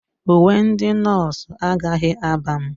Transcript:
Uwe ndị nọọsụ agaghị aba m.